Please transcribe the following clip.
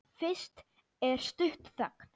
Fyrst er stutt þögn.